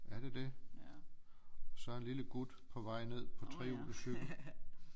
Er det det så en lille gut på vej ned på trehjulet cykel